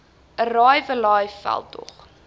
arrive alive veldtog